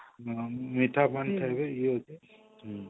ମିଠା ପାନ ଖାଇବେ